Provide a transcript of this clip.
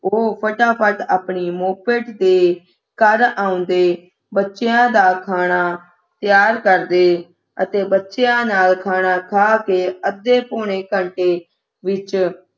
ਉਹ ਫਟਾਫਟ ਆਪਣੀ moped ਤੇ ਘਰ ਢਾਉਂਦੇ ਬਚਦਿਆਂ ਦਾ ਖਾਣਾ ਤਿਆਰ ਕਰਦੇ ਅਤੇ ਬੱਚਿਆਂ ਨਾਲ ਖਾਣਾ ਖਾ ਕੇ ਅੱਧੇ ਪੌਣੇ ਘੰਟੇ ਵਿਚ